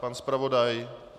Pan zpravodaj?